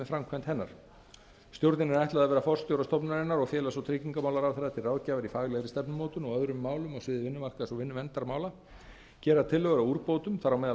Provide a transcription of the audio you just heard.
framkvæmd hennar stjórninni er ætlað að vera forstjóra stofnunarinnar og félags og tryggingamálaráðherra til ráðgjafar í faglegri stefnumótun og öðrum málum á sviði vinnumarkaðs og vinnuverndarmála gera tillögur að úrbótum þar á meðal